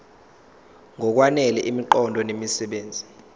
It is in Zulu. ngokwanele imiqondo nemisebenzi